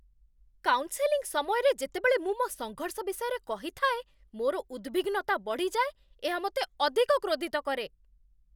Counselling ସମୟରେ ଯେତେବେଳେ ମୁଁ ମୋ ସଙ୍ଘର୍ଷ ବିଷୟରେ କହିଥାଏ, ମୋର ଉଦ୍‌ବିଗ୍ନତା ବଢ଼ିଯାଏ। ଏହା ମୋତେ ଅଧିକ କ୍ରୋଧିତ କରେ।